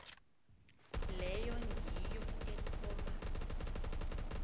leyo ngiyo ethoma